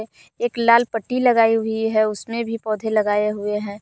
एक लाल पट्टी लगाई हुई है उसमे भी पौधे लगाए हुए हैं।